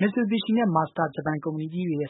မစ်ဆူဘီရှီနဲ့ မာဇဒါ ဂျပန် ကုမ္ပဏီကြီးတွေရဲ့